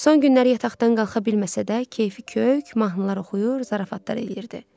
Son günlər yataqdan qalxa bilməsə də, kefi kök, mahnılar oxuyur, zarafatlar eləyirdi.